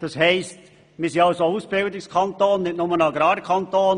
Das heisst, wir sind nicht nur ein Agrar-, sondern auch ein Ausbildungskanton.